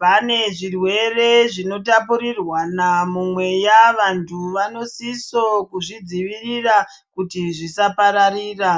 Pane zvirwere zvinotapuriranwa mumweya, vantu vanosisa kuzvidzivirira kuti zvisapararira.